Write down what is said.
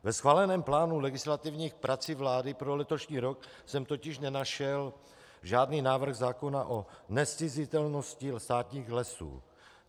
Ve schváleném plánu legislativních prací vlády pro letošní rok jsem totiž nenašel žádný návrh zákona o nezcizitelnosti státních lesů.